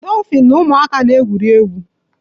Dofin na ụmụaka na-egwuri egwu